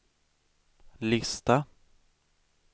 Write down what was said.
lista